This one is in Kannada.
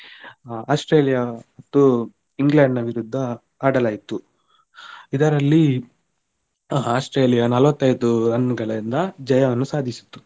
Australia ದ್ದು England ನ ವಿರುದ್ಧ ಆಡಲಾಯಿತು ಇದರಲ್ಲಿ Australia ನಲ್ವತ್ತೈದು run ಗಳಿಂದ ಜಯವನ್ನು ಸಾಧಿಸಿತು.